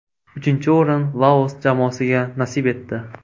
Uchinchi o‘rin Laos jamoasiga nasib etdi.